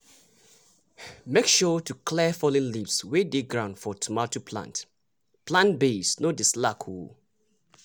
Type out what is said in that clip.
make sure to clear fallen leaves wey dey ground for tomato plant plant base no dey slack o!